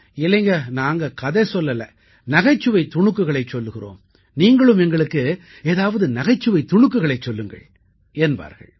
இல்லைங்க நாங்கள் கதை சொல்லவில்லை நகைச்சுவைத் துணுக்குகளைச் சொல்கிறோம் நீங்களும் எங்களுக்கு ஏதாவது நகைச்சுவைத் துணுக்குகளைச் சொல்லுங்கள் என்பார்கள்